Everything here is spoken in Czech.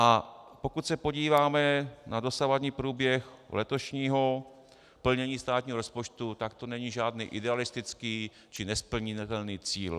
A pokud se podíváme na dosavadní průběh letošního plnění státního rozpočtu, tak to není žádný idealistický či nesplnitelný cíl.